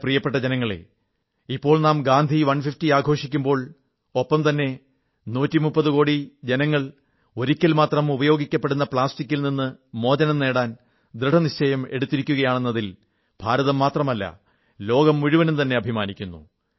എന്റെ പ്രിയപ്പെട്ട ജനങ്ങളേ ഇപ്പോൾ നാം ഗാന്ധി 150 ആഘോഷിക്കുമ്പോൾ ഒപ്പംതന്നെ 130 കോടി ജനങ്ങൾ ഒരിക്കൽ മാത്രം ഉപയോഗിക്കപ്പെടുന്ന പ്ലാസ്റ്റിക്കിൽ ഏകോപയോഗ പ്ലാസ്റ്റിക്ക് നിന്ന് മോചനം നേടാൻ ദൃഢനിശ്ചയം എടുത്തിയിരിക്കയാണെന്നതിൽ ഭാരതം മാത്രമല്ല ലോകം മുഴുവനും തന്നെ അഭിമാനിക്കുന്നു